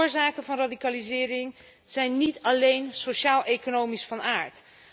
De oorzaken van radicalisering zijn niet alleen sociaaleconomisch van aard.